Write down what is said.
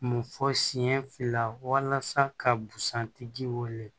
Mun fɔ senɲɛ fila ka busan tigi wele